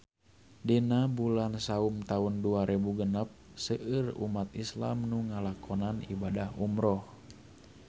Dina bulan Saum taun dua rebu genep seueur umat islam nu ngalakonan ibadah umrah